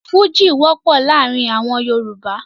Fújì wọ́pọ̀ láàrin àwọn Yorùbá.